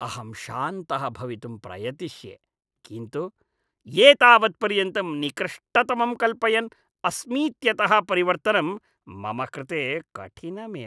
अहं शान्तः भवितुं प्रयतिष्ये, किन्तु एतावत्पर्यन्तं निकृष्टतमं कल्पयन् अस्मीत्यतः परिवर्तनं मम कृते कठिनमेव।